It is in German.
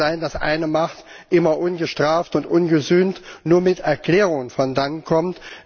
Es kann nicht sein, dass eine Macht immer ungestraft und ungesühnt nur mit Erklärungen davonkommt.